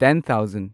ten thousand